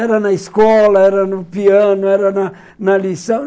Era na escola, era no piano, era na na lição.